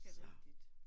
Det rigtigt